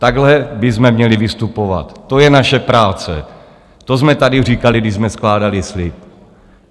Takhle bychom měli vystupovat, to je naše práce, to jsme tady říkali, když jsme skládali slib.